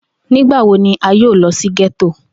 Nigbawo ni a yoo lọ si getto?